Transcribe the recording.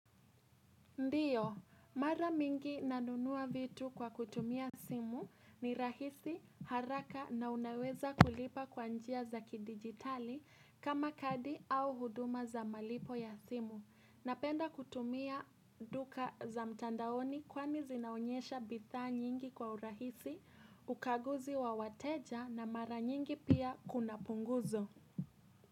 Ndiyo, mara mingi nanunua vitu kwa kutumia simu ni rahisi haraka na unaweza kulipa kwa njia za kidigitali kama kadi au huduma za malipo ya simu. Napenda kutumia duka za mtandaoni kwani zinaonyesha bidhaa nyingi kwa urahisi ukaguzi wa wateja na mara nyingi pia kuna punguzo.